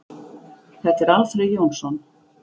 Þetta er Alfreð Jónsson.